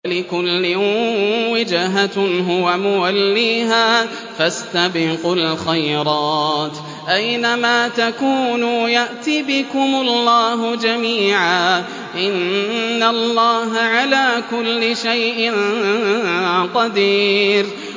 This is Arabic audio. وَلِكُلٍّ وِجْهَةٌ هُوَ مُوَلِّيهَا ۖ فَاسْتَبِقُوا الْخَيْرَاتِ ۚ أَيْنَ مَا تَكُونُوا يَأْتِ بِكُمُ اللَّهُ جَمِيعًا ۚ إِنَّ اللَّهَ عَلَىٰ كُلِّ شَيْءٍ قَدِيرٌ